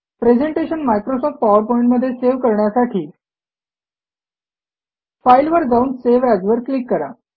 presentation Microsoft PowerPoint मध्ये save करण्यासाठी फाईलवर जाऊन सावे एएस वर क्लिक करा